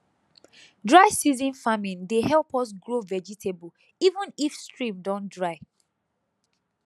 dry season farming dey help us grow vegetable even if stream don dry